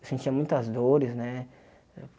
Eu sentia muitas dores, né?